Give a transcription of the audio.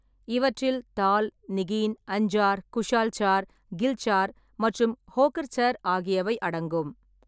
இவற்றில் தால், நிகீன், அஞ்சார், குஷால் சார், கில் சார் மற்றும் ஹோகர்சர் ஆகியவை அடங்கும்.